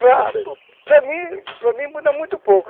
Para mim, para mim, muda muito pouco.